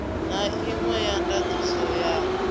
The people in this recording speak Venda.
na inwe ya ndatiso ya